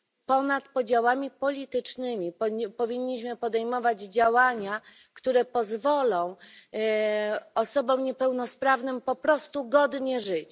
Ponad podziałami politycznymi powinniśmy podejmować działania, które pozwolą osobom niepełnosprawnym po prostu godnie żyć.